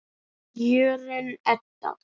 Jórunn Edda.